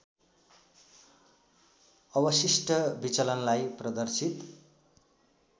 अवशिष्ट विचलनलाई प्रदर्शित